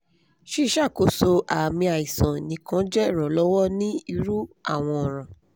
ṣiṣakoso aami aisan nikan jẹ iranlọwọ ni iru awọn ọran